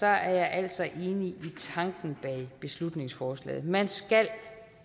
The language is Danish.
jeg altså enig i tanken bag beslutningsforslaget man skal